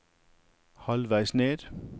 halvveis ned